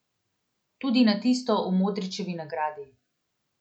Tudi na tisto o Modrićevi nagradi.